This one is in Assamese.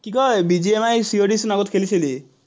কি কয়, চোন আগত খেলিছিলি।